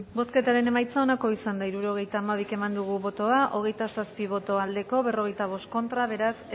bozketaren emaitza onako izan da hirurogeita hamabi eman dugu bozka hogeita zazpi boto aldekoa cuarenta y cinco contra beraz